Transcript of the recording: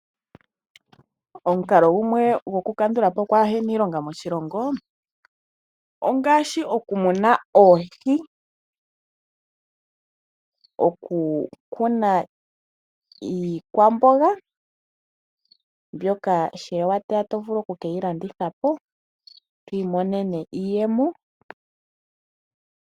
Omukalo gumwe goku kandulapo okwa hena iilonga moshilongo ongashi oku muna oohi, oku kuna iikwamboga mboka sha wateya oto vulu oku keyi landithapo opo wu imonene iiyemo.